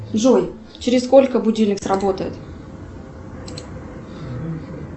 джой через сколько будильник сработает